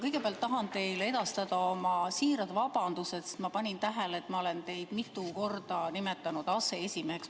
Kõigepealt tahan teile edastada oma siirad vabandused, sest ma panin tähele, et olen teid mitu korda nimetanud aseesimeheks.